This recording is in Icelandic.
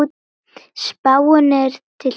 Spáin er til tveggja ára.